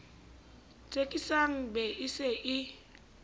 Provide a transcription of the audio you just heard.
tsekisang be e se e